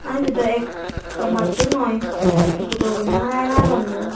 aa ebe do ekka matto noi gurogune hara helond bo.